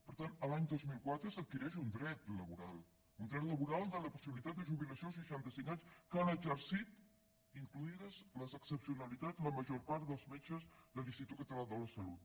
per tant l’any dos mil quatre s’adquireix un dret laboral un dret laboral de la possibilitat de jubilació als seixanta cinc anys que han exercit incloses les excepcionalitats la major part dels metges de l’institut català de la salut